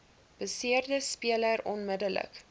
beseerde speler onmiddellik